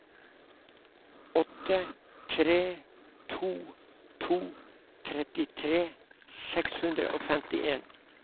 åtte tre to to trettitre seks hundre og femtien